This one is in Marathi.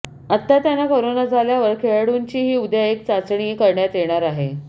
आता त्यांना करोना झाल्यावर खेळाडूंचीही उद्या एक चाचणी करण्यात येणार आहे